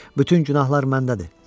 Bütün günahlar məndədir.